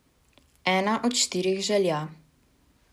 Ena od štirih želja.